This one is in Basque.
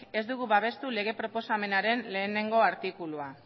ez dugu babestu lege proposamenaren batgarrena artikulua